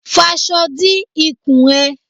Faṣọ di ikùn ẹ!